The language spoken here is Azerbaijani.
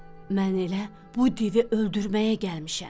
Mən elə bu divi öldürməyə gəlmişəm.